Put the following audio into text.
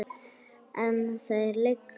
En þar liggur efinn.